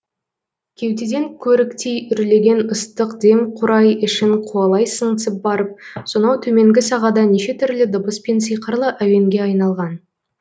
кеудеден көріктей үрлеген ыстық дем қурай ішін қуалай сыңсып барып сонау төменгі сағада неше түрлі дыбыс пен сиқырлы әуенге айналған